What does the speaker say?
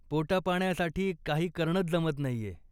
पोटापाण्यासाठी काही करणंच जमत नाहीय.